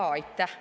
Jaa, aitäh!